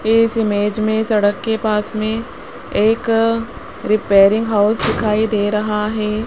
इस इमेज में सड़क के पास में एक रिपेयरिंग हाउस दिखाई दे रहा है।